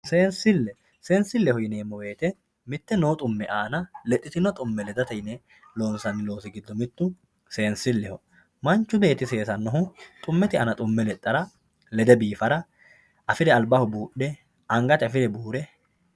seensille seensilleho yineemo woyiite mitte noo dhumme aana ledhitino dhumme ledate yine loonsanni loosi giddo mittu seensilleho manchu beetti seesannohu dhummete aana dhumme ledhara lede biifara afire albbaho buudhe angate afire buure